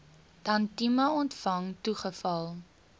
tantième ontvang toegeval